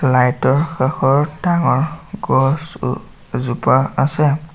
Light ৰ কাষত ডাঙৰ গছ অ এজোপা আছে।